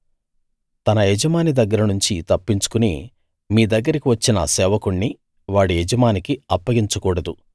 తన యజమాని దగ్గర నుంచి తప్పించుకుని మీ దగ్గరికి వచ్చిన సేవకుణ్ణి వాడి యజమానికి అప్పగించకూడదు